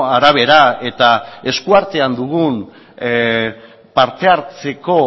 arabera eta eskuartean dugun parte hartzeko